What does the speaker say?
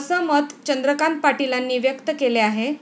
असं मत चंद्रकांत पाटीलांनी व्यक्त केले आहे.